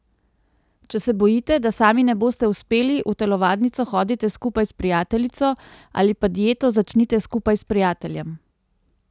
Če se bojite, da sami ne boste uspeli, v telovadnico hodite skupaj s prijateljico ali pa dieto začnite skupaj s prijateljem.